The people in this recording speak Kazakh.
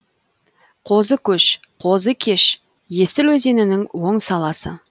қозыкөш қозыкеш есіл өзенінің оң саласы